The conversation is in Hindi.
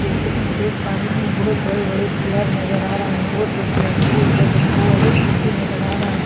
जैसा की मैं देख पा रही हूँ बहुत बड़े बड़े पिलर नजर आ रहे हैं और दो पिलरों पे बना एक पुल भी नजर आ रहा है सामने --